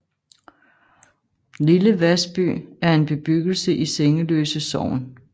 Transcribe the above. Lille Vasby er en bebyggelse i Sengeløse Sogn